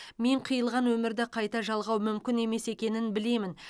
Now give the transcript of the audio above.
мен қиылған өмірді қайта жалғау мүмкін емес екенін білемін